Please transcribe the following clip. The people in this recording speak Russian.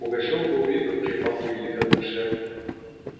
пугачёв был видно в припадке великодушия